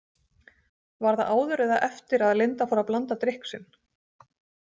Var það áður eða eftir að Linda fór að blanda drykk sinn?